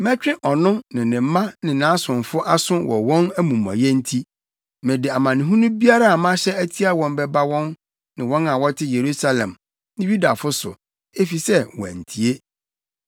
Mɛtwe ɔno ne ne mma ne nʼasomfo aso wɔ wɔn amumɔyɛ nti; mede amanehunu biara a mahyɛ atia wɔn bɛba wɔn ne wɔn a wɔte Yerusalem ne Yudafo so, efisɛ wɔantie.’ ”